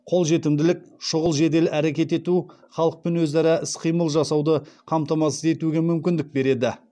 қолжетімділік шұғыл жедел әрекет ету халықпен өзара іс қимыл жасауды қамтамасыз етуге мүмкіндік береді